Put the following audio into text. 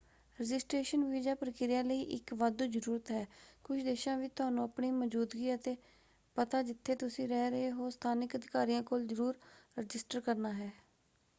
Registration visa ਪ੍ਰਕਿਰਿਆ ਲਈ ਇਕ ਵਾਧੂ ਜ਼ਰੂਰਤ ਹੈ। ਕੁਝ ਦੇਸ਼ਾਂ ਵਿੱਚ ਤੁਹਾਨੂੰ ਆਪਣੀ ਮੌਜ਼ੂਦਗੀ ਅਤੇ ਪਤਾ ਜਿੱਥੇ ਤੁਸੀਂ ਰਹਿ ਰਹੇ ਹੋ ਸਥਾਨਕ ਅਧਿਕਾਰੀਆਂ ਕੋਲ ਜ਼ਰੂਰ ਰਜਿਸਟਰ ਕਰਨਾ ਹੈ।